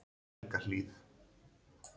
Helgahlíð